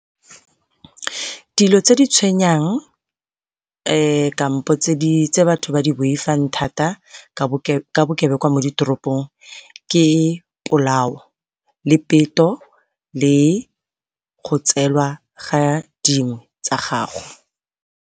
Dilo tse di tshwenyang kampo tse batho ba di boifang thata ka bokebekwa mo ditoropong ke polao, le peto, le go tseelwa ga dingwe tsa gago.